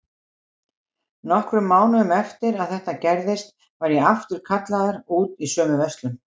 Nokkrum mánuðum eftir að þetta gerðist var ég aftur kallaður út í sömu verslun.